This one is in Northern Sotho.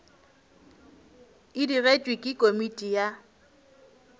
e digetšwe ke komiti ya